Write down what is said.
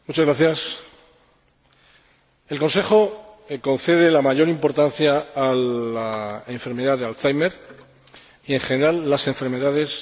El Consejo concede la mayor importancia a la enfermedad de Alzheimer y, en general, a las enfermedades neurodegenerativas.